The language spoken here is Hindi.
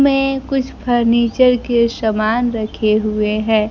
में कुछ फर्नीचर के सामान रखे हुए हैं।